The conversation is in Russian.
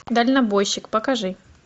дальнобойщик покажи